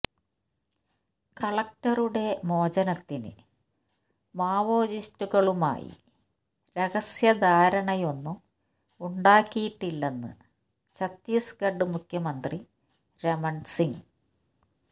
കളക്ടറുടെ മോചനത്തിന് മാവോയിസ്റ്റുകളുമായി രഹസ്യധാരണയൊന്നും ഉണ്ടാക്കിയിട്ടില്ലെന്ന് ഛത്തീസ്ഗഡ് മുഖ്യമന്ത്രി രമണ് സിംഗ്